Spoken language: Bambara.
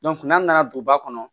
n'an nana duguba kɔnɔ